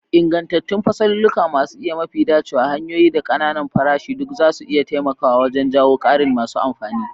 Ingantattun fasalulluka masu isa, mafi dacewa hanyoyin, da ƙananan farashi duk zasu iya taimakawa wajen jawo ƙarin masu amfani.